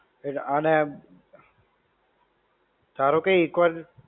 એટલે અને ધારો કે એક વાર